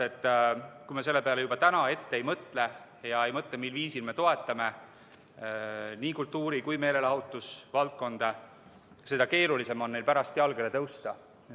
Kui me selle peale juba täna ette ei mõtle, ei mõtle, mil viisil me toetame nii kultuuri kui kogu meelelahutusvaldkonda, siis on neil pärast keeruline jalgele tõusta.